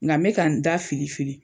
Ŋa n bɛ ka n da fili fili